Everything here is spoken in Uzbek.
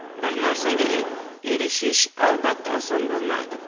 Bir narsaga erishish, albatta, oson bo‘lmaydi.